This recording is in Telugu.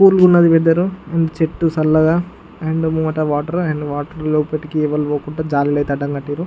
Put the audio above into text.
కూల్ ఉంది వెదరు . చెట్టు సళ్లగా అండ్ లోన వాటర్ అండ్ వాటర్ లోపలకి ఎవ్వరు పోకుండా జలర అయతే కట్టిండు.